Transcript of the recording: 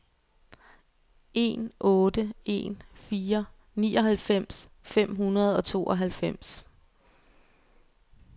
en otte en fire nioghalvfems fem hundrede og tooghalvfems